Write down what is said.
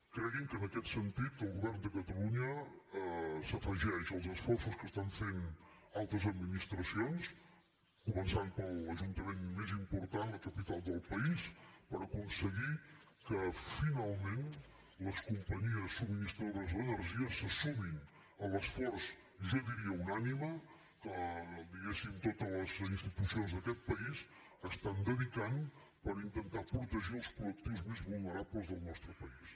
creguin que en aquest sentit el govern de catalunya s’afegeix als esforços que estan fent altres administracions començant per l’ajuntament més important la capital del país per aconseguir que finalment les companyies subministradores d’energia se sumin a l’esforç jo diria unànime que diguéssim totes les institucions d’aquest país estan dedicant per intentar protegir els col·lectius més vulnerables del nostre país